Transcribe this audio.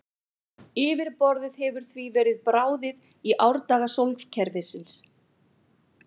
Yfirborðið hefur því verið bráðið í árdaga sólkerfisins.